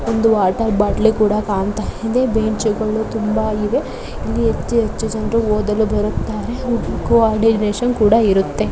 ಒಂದು ವಾಟರ್ ಬಾಟ್ಲಿ ಕೂಡ ಕಾಣ್ತಾ ಇದೆ ಬೆಂಚುಗಳು ತುಂಬಾ ಇವೆ ಇಲ್ಲಿ ಹೆಚ್ಚು ಹೆಚ್ಚು ಜನರು ಓದಲು ಬರುತ್ತಾರೆ. ವುಡ್ ಕೂರ್ಡಿನೇಶನ್ ಕೂಡ ಇರುತ್ತೆ.